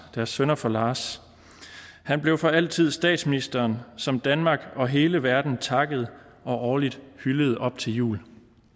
deres sønner for lars han blev for altid statsministeren som danmark og hele verden takkede og årligt hyldede op til jul